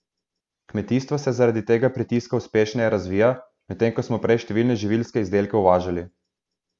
Kmetijstvo se zaradi tega pritiska uspešneje razvija, medtem ko smo prej številne živilske izdelke uvažali.